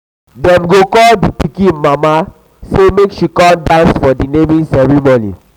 dem go call di pikin mama sey make she come dance for di naming naming ceremony.